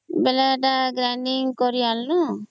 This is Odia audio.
ବେଲେ ଏଟା grinding କରି ଆଣିଲୁ